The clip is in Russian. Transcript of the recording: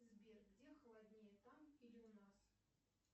сбер где холоднее там или у нас